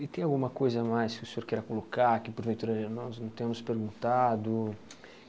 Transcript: E tem alguma coisa mais que o senhor queira colocar, que porventura nós não temos perguntado?